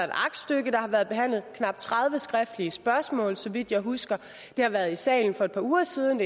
aktstykke der har været behandlet knap tredive skriftlige spørgsmål såvidt jeg husker det har været i salen for et par uger siden